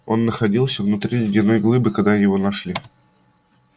он находился внутри ледяной глыбы когда его нашли